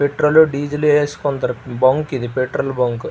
Petrol diesel వేసుకుంటారు bunk ఇది petrol bunk ఇది.